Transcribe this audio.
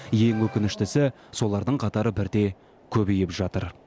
ең өкініштісі солардың қатары бірте көбейіп жатыр